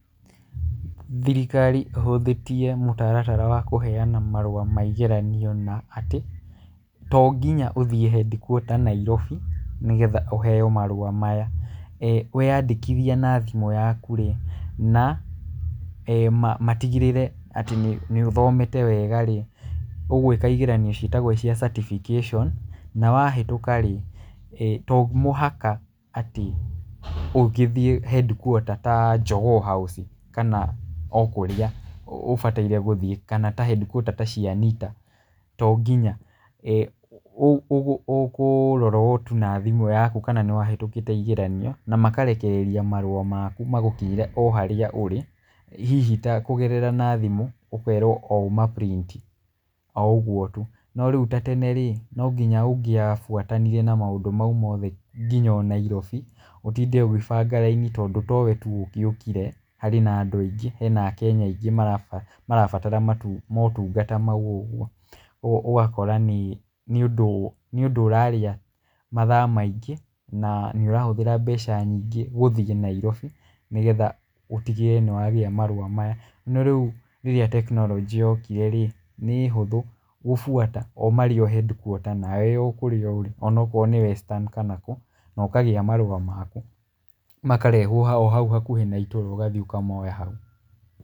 Thirikari ĩhũthĩtie mũtaratara wa kũheana marũa ma igeranio na atĩ; to nginya ũthiĩ headquarter Nairobi nĩgetha ũheo marũa maya. We yandĩkithia na thimũ yaku rĩ, na matigĩrĩre atĩ nĩ, nĩ ũthomete wega rĩ, ũgwĩka igeranio ciĩtagwo cia certification. Na wahĩtũka rĩ, to mũhaka atĩ ũngĩthiĩ headquater ta Jogoo House kana o kũrĩa ũbataire gũthiĩ kana ta headquarter ta cia Nita to nginya. Ũkũrora o tu na thimũ yaku kana nĩ wahĩtũkĩto igeranio na makarekereria marũa maku magũkinyĩre o harĩa ũrĩ, hihi ta kũgerera na thimũ ũkerwo o ũma print, o ũguo tu. No rĩu ta tene rĩ, no nginya ũngĩabuatanire na maũndũ mau mothe nginya o Nairobi, ũtinde ũgĩbanga raini tondũ towe tu ũgĩũikire, harĩ na andũ aingĩ, hena akenya aingĩ marabatara motungata mau ũguo. Ũguo ũgakora nĩ ũndũ, nĩ ũndũ ũrarĩa mathaa maingĩ na nĩ ũrahũthĩra mbeca nyingĩ gũthiĩ Nairobi nĩgetha ũtigĩrĩre nĩ wagĩa marũa maya. No rĩu rĩrĩa tekinoronjĩ yokire rĩ, nĩ hũthũ gũbuata o marĩ o headquarter nawe wĩ o kũrĩa ũrĩ, ona okorwo nĩ Western kana kũ, na ũkagĩa marũa maku, makarehwo o hau hakuhĩ na itũra ũgathiĩ ũkamoya hau.